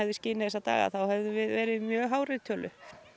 skinið þessa daga þá hefðum við verið í mjög hárri tölu